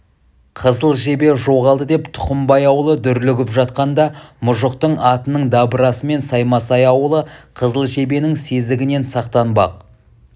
қызыл жебе жоғалды деп тұқымбай ауылы дүрлігіп жатқанда мұжықтың атының дабырасымен саймасай ауылы қызыл жебенің сезігінен сақтанбақ